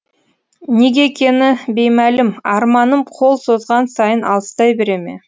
неге екені беймәлім арманым қол созған сайын алыстай бере ме